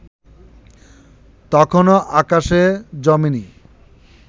তখনো আকাশে জমে নি